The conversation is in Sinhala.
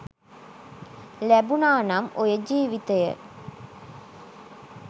ලැබුනා නම් ඔය ජීවිතය